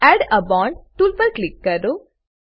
add a bond tool પર click કરો